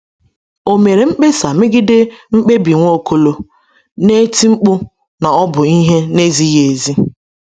Ọ mere mkpesa megide mkpebi Nwaokolo, na-eti mkpu na ọ bụ ihe na-ezighị ezi?